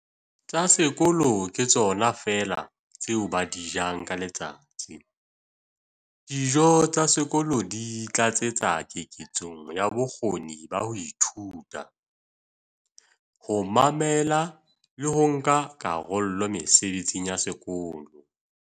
"tsa sekolo ke tsona feela tseo ba di jang ka letsatsi. Dijo tsa sekolo di tlatsetsa keketsong ya bokgoni ba ho ithuta, ho mamela le ho nka karolo mesebetsing ya sekolo".